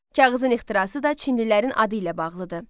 Kağızın ixtirası da çinlilərin adı ilə bağlıdır.